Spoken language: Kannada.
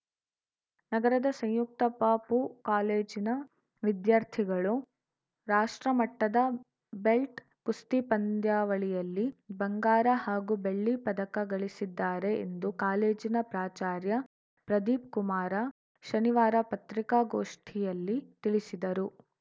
ನಗರದ ಸಂಯುಕ್ತ ಪಪೂ ಕಾಲೇಜಿನ ವಿದ್ಯಾರ್ಥಿಗಳು ರಾಷ್ಟ್ರ ಮಟ್ಟದ ಬೆಲ್ಟ್‌ ಕುಸ್ತಿ ಪಂದ್ಯಾವಳಿಯಲ್ಲಿ ಬಂಗಾರ ಹಾಗೂ ಬೆಳ್ಳಿ ಪದಕ ಗಳಿಸಿದ್ದಾರೆ ಎಂದು ಕಾಲೇಜಿನ ಪ್ರಾಚಾರ್ಯ ಪ್ರದೀಪ್ ಕುಮಾರ ಶನಿವಾರ ಪತ್ರಿಕಾಗೋಷ್ಠಿಯಲ್ಲಿ ತಿಳಿಸಿದರು